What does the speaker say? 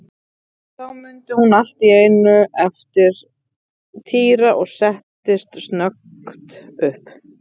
Þá mundi hún allt í einu eftir Týra og settist snöggt upp.